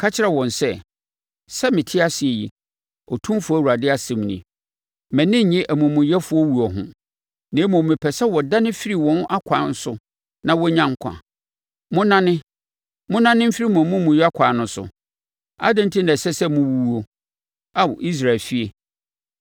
Ka kyerɛ wɔn sɛ, ‘Sɛ mete ase yi, Otumfoɔ Awurade asɛm nie, mʼani nnye amumuyɛfoɔ wuo ho, na mmom mepɛ sɛ wɔdane firi wɔn akwan so na wɔnya nkwa. Monnane! Monnane mfiri mo amumuyɛ akwan no so! Adɛn enti na ɛsɛ sɛ mowuwuo, Ao Israel efie?’